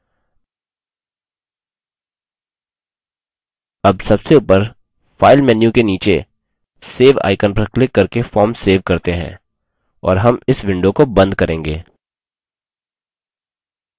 अब सबसे ऊपर file menu के नीचे save icon पर क्लिक करके form सेव करते हैं और हम इस window को and करेंगे